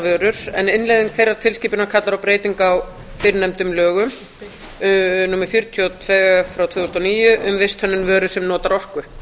vörur en innleiðing þeirrar tilskipunar kallar á breytingu á fyrrnefndum lögum númer fjörutíu og tvö tvö þúsund og níu um visthönnun vöru sem notar orku